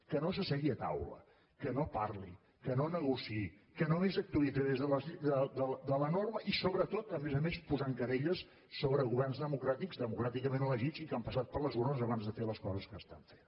que no s’assegui a taula que no parli que no negociï que només actuï a través de la norma i sobretot a més a més posant querelles sobre governs democràtics democràticament elegits i que han passat per les urnes abans de fer les coses que estan fent